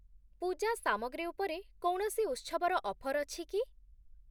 ପୂଜା ସାମଗ୍ରୀ ଉପରେ କୌଣସି ଉତ୍ସବର ଅଫର୍ ଅଛି କି?